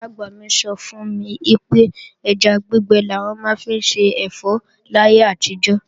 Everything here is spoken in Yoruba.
Ìyá-àgbà mi sọ fún mi pé ẹja gbígbẹ làwọn máa ń fi ṣẹ̀fọ́ láyé àtijọ́